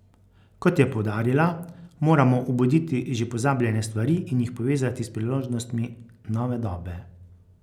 Kot je poudarila, moramo obuditi že pozabljene stvari in jih povezati s priložnostmi nove dobe.